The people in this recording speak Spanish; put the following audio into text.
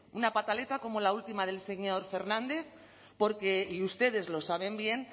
una pataleta como la última del señor fernández porque y ustedes lo saben bien